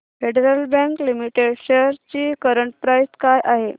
federal Bank Limited shares ची current price काय आहे